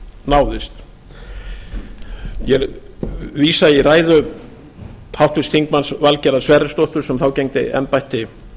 náðist ég vísa í ræðu háttvirts þingmanns valgerðar sverrisdóttur sem þá gegndi embætti